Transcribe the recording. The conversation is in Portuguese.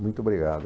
Muito obrigado.